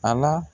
A la